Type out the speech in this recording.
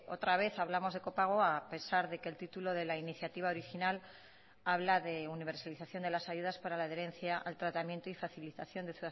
otra vez hablamos de copago a pesar de que el título de la iniciativa original habla de universalización de las ayudas para la adherencia al tratamiento y facilitación de